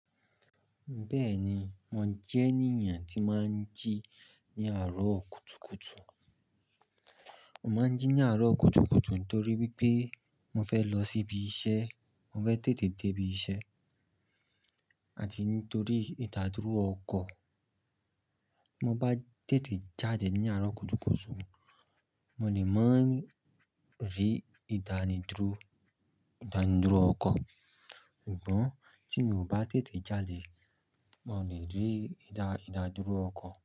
Bẹ́ẹ̀ni, mo jẹ́ ènìyàn tí máa ń jí ní àárọ̀ kùtùkùtù. Mo máa ń jí ní àárọ̀ kùtùkùtù nítorí wípé mo fẹ́ lọ síbi iṣẹ́, mo fẹ́ tètè dé ibi iṣẹ́ àti nítorí ìdádúró ọkọ̀. Mo bá tètè jáde ní àárọ̀ kùtùkùtù, mo lè má ń rí ìdánidúró, ìdánidúró ọkọ̀. Ṣùgbọ́n tí mi ò bá tètè jáde, màá lè rí ìdà, ìdádúró ọkọ̀.